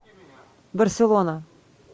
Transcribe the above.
барселона